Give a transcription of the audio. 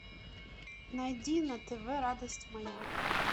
найди на тв радость моя